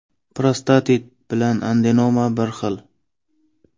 Prostatit bilan adenoma bir xil.